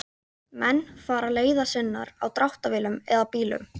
Menn fara leiðar sinnar á dráttarvélum eða bílum.